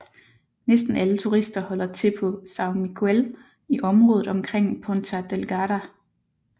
Næsten alle turister holder til på São Miguel i området omkring Ponta Delgada